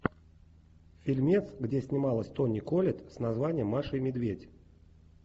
фильмец где снималась тони коллетт с названием маша и медведь